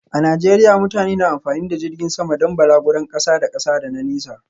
A Najeriya mutane na amfani da jirgin sama don balaguron kasa da kasa da na nesa.